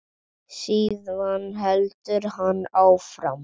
Síðan heldur hann áfram.